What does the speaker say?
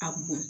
A bɔn